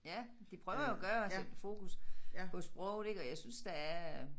Ja de prøver at gøre at sætte fokus på sproget ik og jeg synes der er